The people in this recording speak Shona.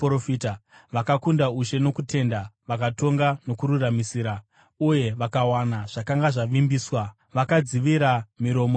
vakakunda ushe nokutenda, vakatonga nokururamisira, uye vakawana zvakanga zvavimbiswa; vakadzivira miromo yeshumba,